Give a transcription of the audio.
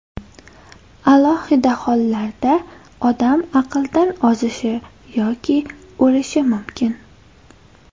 Alohida hollarda odam aqldan ozishi yoki o‘lishi mumkin.